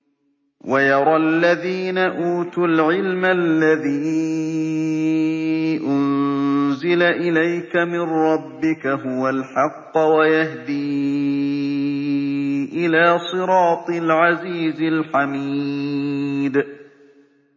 وَيَرَى الَّذِينَ أُوتُوا الْعِلْمَ الَّذِي أُنزِلَ إِلَيْكَ مِن رَّبِّكَ هُوَ الْحَقَّ وَيَهْدِي إِلَىٰ صِرَاطِ الْعَزِيزِ الْحَمِيدِ